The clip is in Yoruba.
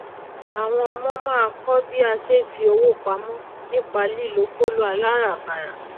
àwọn ọmọ máá kó bí a sé é fi owó pamó nípa lílo kóló aláràbarà